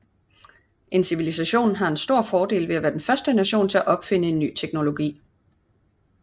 En civilisation har en stor fordel ved at være den første nation til at opfinde en ny teknologi